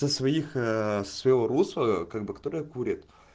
со своих ээ со своего русла как бы которая курит